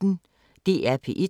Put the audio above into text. DR P1